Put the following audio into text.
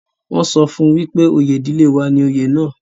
wọ́n sọ fún wípé oyè ìdílé wa ni oyè náà